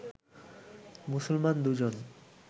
মুসলমান দুজন